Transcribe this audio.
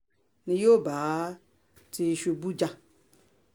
yóò bá tìṣubù jà